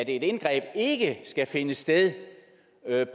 et indgreb ikke skal finde sted